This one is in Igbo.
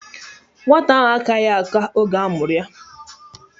Nwata ahụ akaghị aka oge a mụrụ ya